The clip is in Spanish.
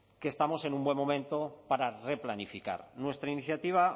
que estamos en un buen momento para replanificar nuestra iniciativa